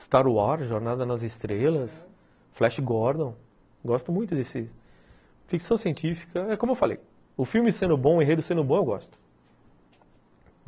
Star Wars, Jornada nas Estrelas, Flash Gordon, gosto muito desse... Ficção científica, é como eu falei, o filme sendo bom, o enredo sendo bom, eu gosto.